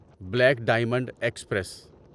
black diamond express